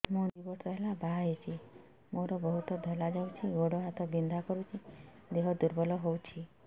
ମୁ ଦୁଇ ବର୍ଷ ହେଲା ବାହା ହେଇଛି ମୋର ବହୁତ ଧଳା ଯାଉଛି ଗୋଡ଼ ହାତ ବିନ୍ଧା କରୁଛି ଦେହ ଦୁର୍ବଳ ହଉଛି